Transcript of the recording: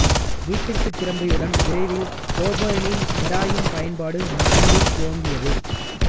வீட்டிற்குத் திரும்பியவுடன் விரைவில் கோபேனின் ஹெராயின் பயன்பாடு மீண்டும் துவங்கியது